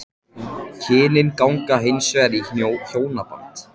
Kynin ganga hins vegar í hjónaband.